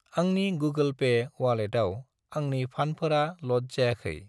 आंनि Google Pay अवालेटाव आंनि फान्डफोरा ल'ड जायाखै।